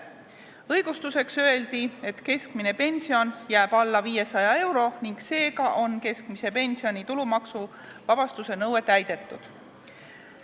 Õigustuseks öeldi, et keskmine pension jääb alla 500 euro ning seega on keskmise pensioni tulumaksuvabastuse nõue täidetud.